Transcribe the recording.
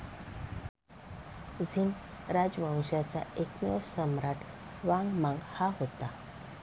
झीन राजवंशाचा एकमेव सम्राट वांग मांग हा होता.